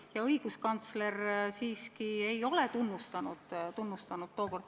Ja õiguskantsler siiski tookord seda seadust ei tunnustanud.